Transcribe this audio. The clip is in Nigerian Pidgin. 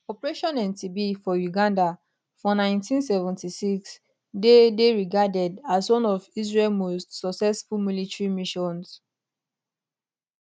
operation entebbe for uganda for 1976 dey dey regarded as one of israel most successful military missions